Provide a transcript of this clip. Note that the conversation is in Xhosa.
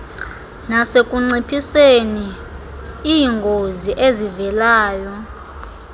nasekunciphiseni iingozi ezivelayo